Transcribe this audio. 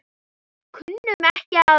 Kunnum ekki annað.